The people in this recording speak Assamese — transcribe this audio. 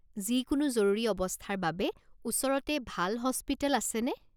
যিকোনো জৰুৰী অৱস্থাৰ বাবে ওচৰতে ভাল হস্পিটেল আছেনে?